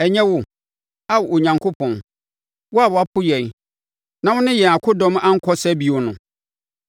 Ɛnyɛ wo, Ao Onyankopɔn, wo a woapo yɛn na wone yɛn akodɔm ankɔ sa bio no?